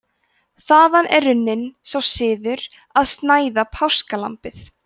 þaðan er runninn sá siður að snæða páskalambið